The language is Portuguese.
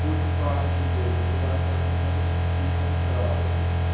Por sorte dele, por azar meu, vinha um trólebus.